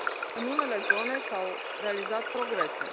În unele zone s au realizat progrese.